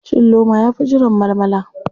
Cin loma yafi jiran malmala.